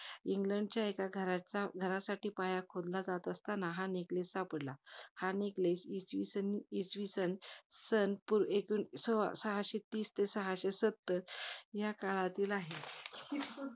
इंग्लंडच्या एका घराचा, एका घरासाठी पाया खोदला जात असतांना हा neckless सापडला. हा neckless इचविसन~ इसविसन, सन तो~ एकोणी~ सो~ सहाशे तीस ते सहाशे सत्तर या काळातील आहे.